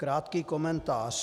Krátký komentář.